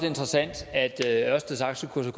interessant at ørsteds aktiekurser